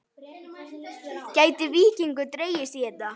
Gæti Víkingur dregist í þetta?